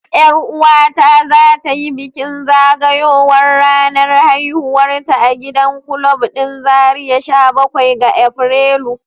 Yar uwata za ta yi bikin zagayowar ranar haihuwarta a gidan kulab din zarai sha bakwai ga Afrilu.